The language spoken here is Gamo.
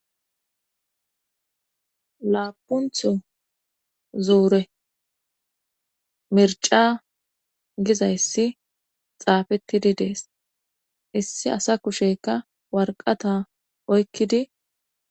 Laapuntho zuure mirca gizayssi xaafettidi dees issi asa kusheykka warqata oykkidi.